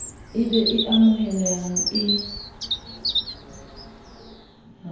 e be e amohelehang e